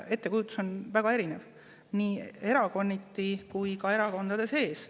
Ettekujutus on väga erinev nii erakonniti kui ka erakondade sees.